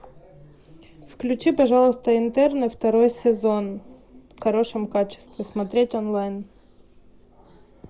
включи пожалуйста интерны второй сезон в хорошем качестве смотреть онлайн